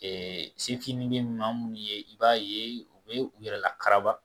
sefin bɛ maa minnu ye i b'a ye u bɛ u yɛrɛ lakana